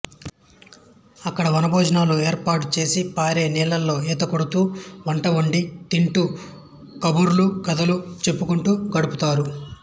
అక్కడ వనభోజనాలు ఏర్పాడు చేసి పారే నీళ్లలో ఈతకొడుతూ వంట వండి తింటూ కబుర్లు కథలు చెప్పుకుంటూ గడుపుతారు